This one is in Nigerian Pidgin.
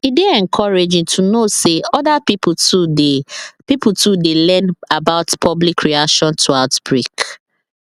e dey encouraging to know say other pipo too dey pipo too dey learn about public reaction to outbreak